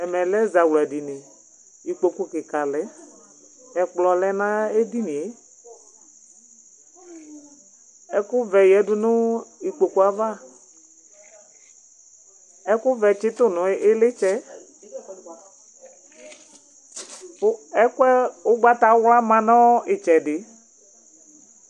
Ɛmɛ lɛ ɛzawla dini, ikpoku kika lɛ, ɛkplɔ lɛ na edinie, ɛku vɛ yadu nu ikpokoe ava , ɛku vɛ tsitu nu ilitsɛ, ɛkʋɛ, ugbata wla ma nu itsɛdi